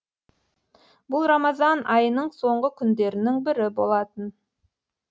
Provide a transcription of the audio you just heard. бұл рамазан айының соңғы күндерінің бірі болатын